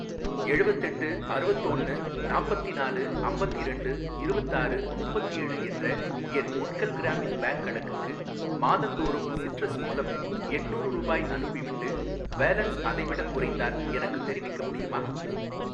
எழுவத்தெட்டு அறுவத்தோன்னு நாப்பத்தினாலு அம்பத்திரெண்டு இருவத்தாறு முப்பத்தேழு என்ற என் உட்கல் கிராமின் பேங்க் கணக்குக்கு மாதந்தோறும் சிட்ரஸ் மூலம் எட்நூரு ரூபாய் அனுப்பிவிட்டு, பேலன்ஸ் அதைவிடக் குறைந்தால் எனக்குத் தெரிவிக்க முடியுமா?